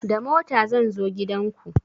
Da mota zan zo gidan ku